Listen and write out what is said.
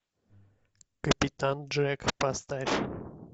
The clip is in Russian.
капитан джек поставь